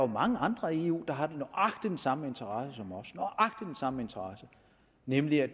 mange andre i eu der har nøjagtig den samme interesse som os nemlig at